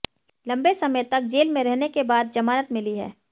लंबे समय तक जेल में रहने के बाद ज़मानत मिली है